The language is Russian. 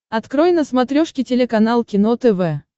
открой на смотрешке телеканал кино тв